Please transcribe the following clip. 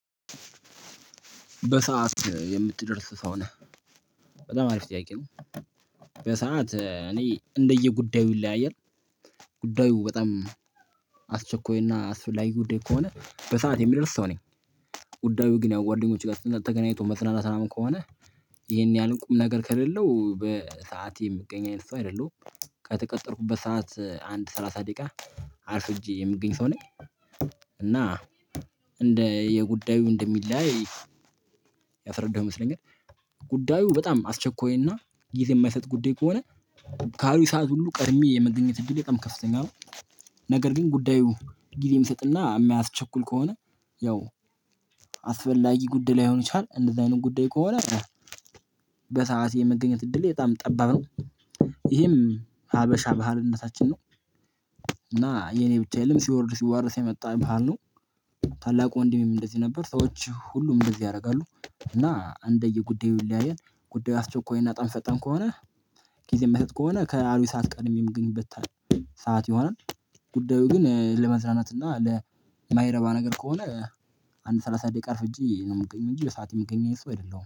በሰአት የምትደርስ ሰው ነህ። በጣም አሪፍ ጥያቄ ነው። በሰአት እኔ እንደየ ጉዳዩ ይለያያል። ጉዳዩ በጣም አስቸኳይና አስፈላጊ ጉዳይ ከሆነ በሰአት የምደርስ ሰው ነኝ። ጉዳዩ ግን ያው ጓደኞች ጋር ተገናኝቶ መጽናናት ራሱ ከሆነ ይሄን ያህል ቁም ነገር ከሌለው በሰአት የምገኝ አይነት ሰው አይደለሁም። ከተቀጠርኩበት ሰዓት አንድ ሰላሳ ደቂቃ አርፍጄ የምገኝ ሰው ነኝ። እና እንደ የጉዳዩ እንደሚለያይ ያፈረደው ይመስለኛል። ጉዳዩ በጣም አስቸኳይና ጊዜ የማይሰጥ ጉዳይ ከሆነ ካሉኝ ሰዓት ሁሉ ቀድሜ የመገኘት እድል በጣም ከፍተኛ ነው። ነገር ግን ጉዳዩ ጊዜም ሚስጥና ማያስቸኩል ከሆነ ያው አስፈላጊ ጉድይ ላይሆን ይችላል እንደዚህ አይነት ጉዳይ ከሆነ። በሰአት የመገኘት እድሌ በጣም ጠባብ ነው። ይሄም ሀበሻ ባህልነታችን ነው። እና የኔ ብቻ የለም ሲወርድ ሲዋረስ የመጣ ባህል ነው። ታላቁ ወንድሜም እንደዚህ ነበር ሰዎች ሁሉም እንደዚህ ያደርጋሉ እና እንደየ ጉዳዩ ይለያያል። ጉዳዩ አስቸኳይና በጣምፈጣን ከሆነ ጊዜም መስጠት ከሆነ ከአሉኝ ሰዓት ቀድሜም ምገኝበት ሰዓት ይሆናል። ጉዳዩ ግን ለመዝዝናት እና ለማይረባ ነገር ከሆነ አንድ ሰላሳ ደቂቃ አርፍጂ ነው የምገኘው እንጂ በሰአቱ ምገኝ አይነት ሰው አይደለሁም